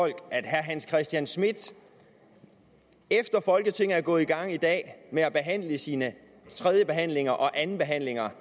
at herre hans christian schmidt efter folketinget er gået i gang med at behandle sine tredjebehandlinger og andenbehandlinger